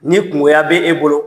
Ni kunkoya be e bolo,